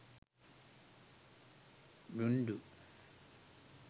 bindu